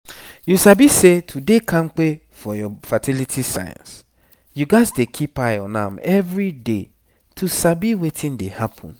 you sabi say to dey kampe for your fertility signs you gats dey keep eye on am everyday to sabi wetin dey happen